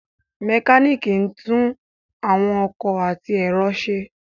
Àwọn mekaniki ńtun àwọn ọkọ ati ẹrọ ṣe